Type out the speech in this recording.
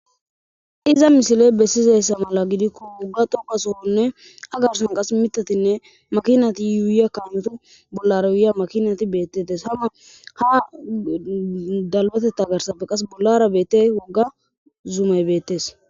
Iza misile besizayssa mala gidikko, wigga xoqqa sohonne a gaason qassi miththatinne makinati yuuyiya kaameta bollara yuuyiya makinati beeteetees. Ha makiinati ha dalggatetha garssara woggara beetiyage woggs zumay beetees.